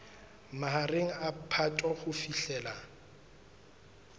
mahareng a phato ho fihlela